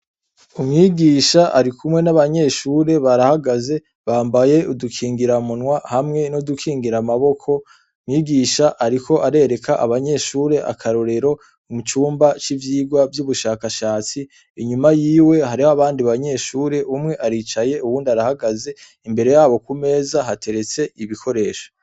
Umwigisha arikumwe n'abanyeshure barahagaze ,bambaye udukingira munwa hamwe n'udukingora amaboko, mwigisha ariko arereka abanyeshure akarorero, mucumba c'ivyirwa vy'ubushakashatsi ,inyuma yiwe hariho abandi banyeshure umwe aricaye uyundi arahagaze, imbere yabo kumeza hateretse ibikoresho.